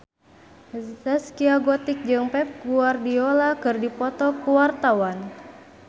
Zaskia Gotik jeung Pep Guardiola keur dipoto ku wartawan